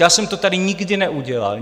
Já jsem to tady nikdy neudělal.